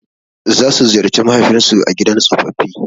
Za su ziyarci mahaifin su a gidan tsofaffi.